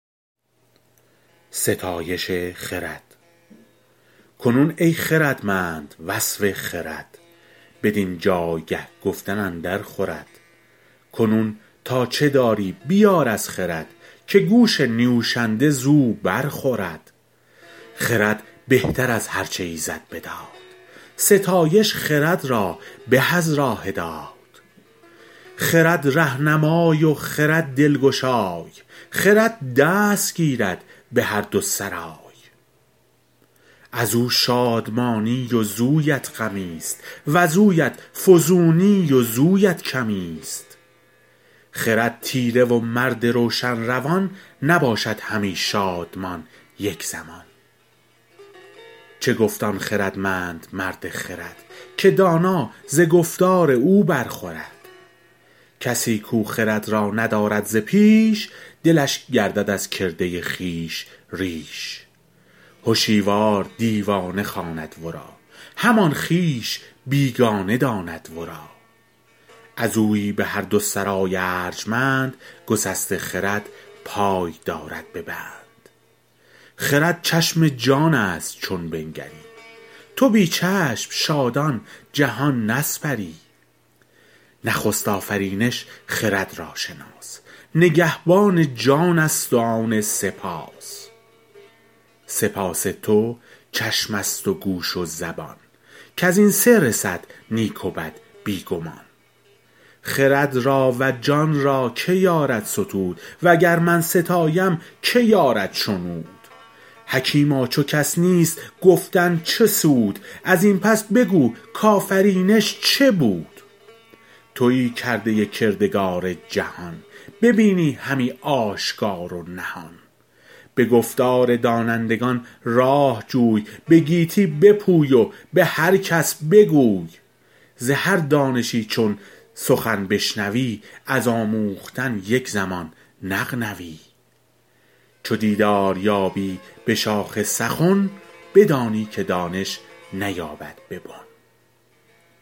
کنون ای خردمند وصف خرد بدین جایگه گفتن اندر خورد کنون تا چه داری بیار از خرد که گوش نیوشنده زو بر خورد خرد بهتر از هر چه ایزد بداد ستایش خرد را به از راه داد خرد رهنمای و خرد دلگشای خرد دست گیرد به هر دو سرای از او شادمانی وزویت غمی است وزویت فزونی وزویت کمی است خرد تیره و مرد روشن روان نباشد همی شادمان یک زمان چه گفت آن خردمند مرد خرد که دانا ز گفتار او بر خورد کسی کو خرد را ندارد ز پیش دلش گردد از کرده خویش ریش هشیوار دیوانه خواند ورا همان خویش بیگانه داند ورا از اویی به هر دو سرای ارجمند گسسته خرد پای دارد به بند خرد چشم جان است چون بنگری تو بی چشم شادان جهان نسپری نخست آفرینش خرد را شناس نگهبان جان است و آن سه پاس سه پاس تو چشم است و گوش و زبان کز این سه رسد نیک و بد بی گمان خرد را و جان را که یارد ستود و گر من ستایم که یارد شنود حکیما چو کس نیست گفتن چه سود از این پس بگو کآفرینش چه بود تویی کرده کردگار جهان ببینی همی آشکار و نهان به گفتار دانندگان راه جوی به گیتی بپوی و به هر کس بگوی ز هر دانشی چون سخن بشنوی از آموختن یک زمان نغنوی چو دیدار یابی به شاخ سخن بدانی که دانش نیاید به بن